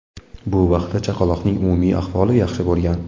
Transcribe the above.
Bu vaqtda chaqaloqning umumiy ahvoli yaxshi bo‘lgan.